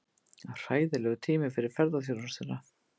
Hræðilegur tími fyrir ferðaþjónustuna